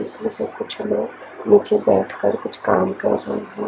इसमें से कुछ लोग निचे बेठ कर कुछ काम कर रहे हैं।